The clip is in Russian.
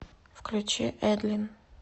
включи эдлин